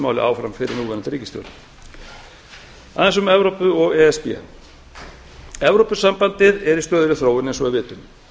máli áfram fyrir núverandi ríkisstjórn aðeins um evrópu og e s b evrópusambandið er í stöðugri þróun eins og við vitum